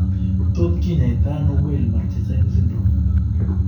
Tot kinyaitaano Weill Marchesaini syndrome?